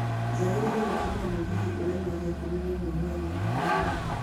njagĩriĩre gũtumĩra mũgithi ũrauma thaa ikũmi na ĩmwe hwaĩinĩ gũthiĩ mombatha